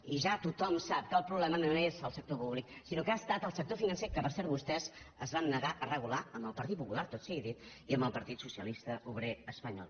i ja tothom sap que el problema no és el sector públic sinó que ha estat el sector financer que per cert vostès es van negar a regular amb el partit popular tot sigui dit i amb el partit socialista obrer espanyol